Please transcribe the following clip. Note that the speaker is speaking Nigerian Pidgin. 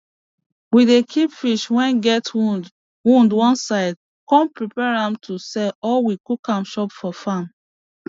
we dey keep fish wey get wound wound one side come prepare am to sell or we cook am chop for farm